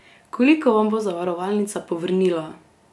Koliko vam bo zavarovalnica povrnila?